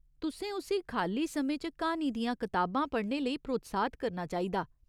तुसें उस्सी खाल्ली समें च क्हानी दियां कताबां पढ़ने लेई प्रोत्साहत करना चाहिदा।